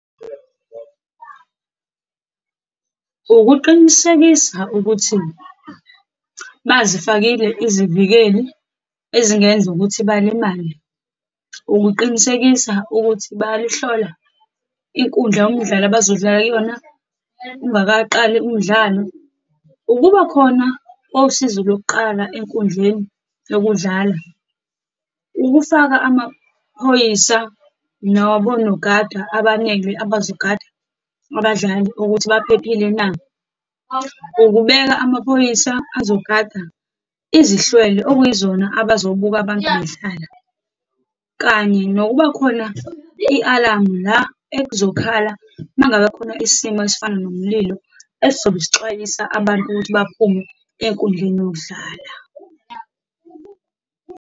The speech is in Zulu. Ukuqinisekisa ukuthi bazifakile izivikeli ezingenza ukuthi balimale, ukuqinisekisa ukuthi bayalihlola inkundla yomdlalo abazodlala kuyona ungakaqali umdlalo, ukubakhona kosizo lokuqala enkundleni yokudlala, ukufaka amaphoyisa nabonogada abaningi, abazogada abadlali ukuthi baphephile na, ukubeka amaphoyisa azogada izihlwele, okuyizona abazobuka abantu bedlala, kanye nokubakhona i-alamu, la ekuzokhala uma ngabe khona isimo esifana nomlilo esizobe sixwayisa abantu ukuthi baphume enkundleni yokudlala.